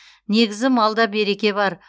негізі малда береке бар